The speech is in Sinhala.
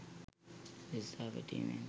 ලිස්සා වැටීමෙන්